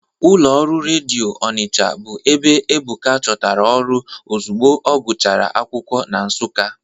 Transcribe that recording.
Ụlọ ọrụ redio Ọnicha bụ ebe Ebuka chọtara ọrụ ozugbo ọgụchara akwụkwọ na Nsụka.